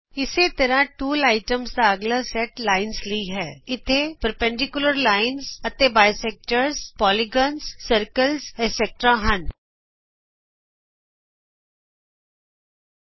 ਇਸੇ ਤਰ੍ਹਾਂ tool item ਦਾ ਅਗਲਾ ਸੈਟ ਲਾਈਨਜ਼ ਲਈ ਹੈਇਥੇ ਲੰਬਕਾਰੀ ਰੇਖਾ ਦੋ ਭਾਜਕ ਬਹੂ ਭਾਜਕ ਚੱਕਰ perpendicular lines and bisectors polygons circles etc ਵਗੈਰਹ ਹਨ